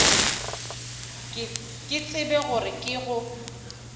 ke tsebe gore ke go